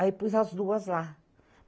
Aí pus as duas lá.